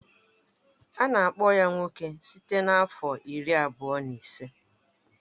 Ana akpọ ya nwoke site na afọ iri abụọ na ise.